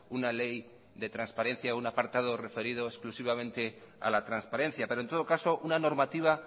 una ley de transparencia o un apartado referido exclusivamente a la transparencia pero en todo caso una normativa